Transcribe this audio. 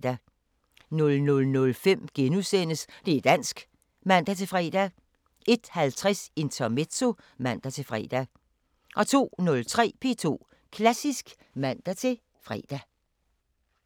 00:05: Det´ dansk *(man-fre) 01:50: Intermezzo (man-fre) 02:03: P2 Klassisk (man-fre)